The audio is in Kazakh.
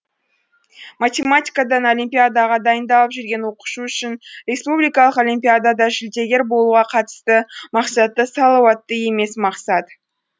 математикадан олимпиадаға дайындалып жүрген оқушы үшін республикалық олимпиадада жүлдегер болуға қатысты мақсаты салауатты емес мақсат